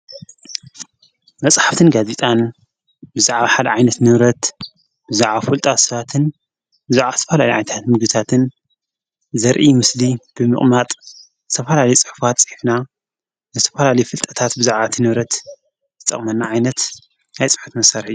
መጽሕፍትን ጋዚጣን ብዛዕብ ሓድ ዓይነት ነብረት ብዛዓ ዂልጣ ሰዋትን ብዙዕ ስፍላሊ ዓይታት ምግታትን ዘርኢ ሙስሊ ብምቕማጥ ተፈላሊ ጸሕፍት ጸሒፍና ብተፍላሊይ ፍልጠታት ብዛዕዓቲ ነብረት ዝጠቕመና ዓይነት ናይ ፁሑፍ መሠርሒ እዩ።